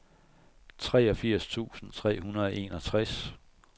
treogfirs tusind tre hundrede og enogtres